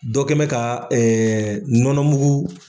Dɔ kɛbɛn bɛ ka nɔnɔmugu.